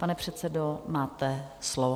Pane předsedo, máte slovo.